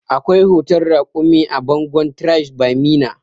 Akwai hoton raƙumi a bangon tribes by meena